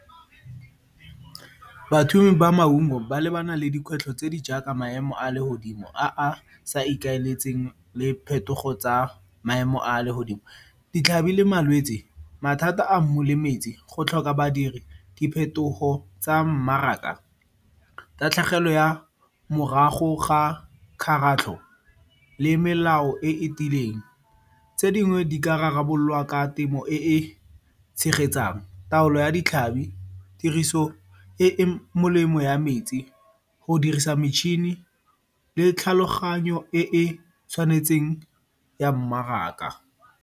ba maungo ba lebana le dikgwetlho tse di jaaka maemo a legodimo a a sa ikaeletseng le phetogo tsa maemo a legodimo, ditlhabi le malwetsi, mathata a mmu le metsi, go tlhoka badiri, diphetogo tsa mmaraka, tatlhegelo ya morago ga kgaratlho le melao e e tiileng. Tse dingwe di ka rarabololwa ka temo e e tshegetsang, taolo ya ditlhabi, tiriso e e molemo ya metsi, go dirisa metšhini le tlhaloganyo e e tshwanetseng ya mmaraka.